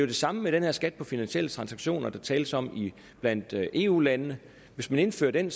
det samme med den her skat på finansielle transaktioner der tales om blandt eu landene hvis man indfører den